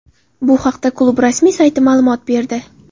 Bu haqda klub rasmiy sayti ma’lumot berdi .